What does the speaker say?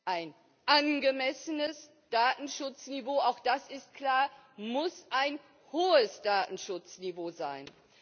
Ein angemessenes Datenschutzniveau auch das ist klar muss ein hohes Datenschutzniveau sein.